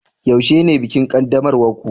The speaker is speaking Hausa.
yaushe ne bikin qaddamarwar ku